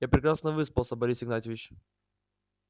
я прекрасно выспался борис игнатьевич